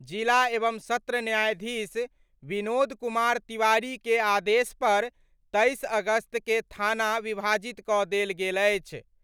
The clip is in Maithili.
जिला एवं सत्र न्यायाधीश विनोद कुमार तिवारी के आदेश पर 23 अगस्त क' थाना विभाजित क' दैल गेल अछि।